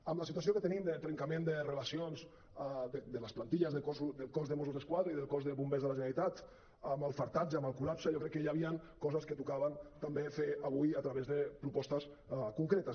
amb la situació que tenim de trencament de relacions de les plantilles del cos de mossos d’esquadra i del cos de bombers de la generalitat amb l’afartament amb el col·lapse jo crec que hi havien coses que tocava fer avui a través de propostes concretes